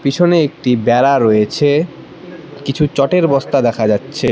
পিছনে একটি বেড়া রয়েছে কিছু চটের বস্তা দেখা যাচ্ছে।